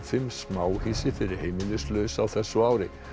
fimm smáhýsi fyrir heimilislausa á þessu ári